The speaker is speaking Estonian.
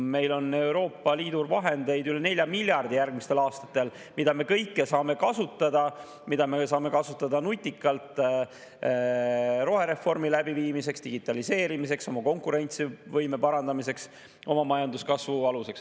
Meil on Euroopa Liidu vahendeid üle 4 miljardi järgmistel aastatel, mida me kõike saame kasutada – mida me saame kasutada nutikalt rohereformi läbiviimiseks, digitaliseerimiseks, oma konkurentsivõime parandamiseks, oma majanduskasvu aluseks.